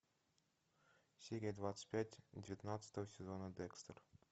серия двадцать пять девятнадцатого сезона декстер